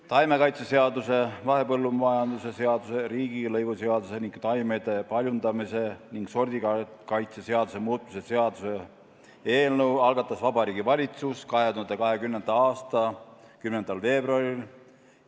Taimekaitseseaduse, mahepõllumajanduse seaduse, riigilõivuseaduse ning taimede paljundamise ja sordikaitse seaduse muutmise seaduse eelnõu algatas Vabariigi Valitsus 2020. aasta 10. veebruaril.